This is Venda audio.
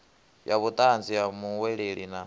ya vhutanzi ha muhweleli na